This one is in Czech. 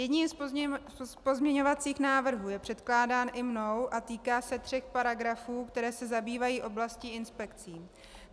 Jeden z pozměňovacích návrhů je předkládán i mnou a týká se tří paragrafů, které se zabývají oblastí inspekcí.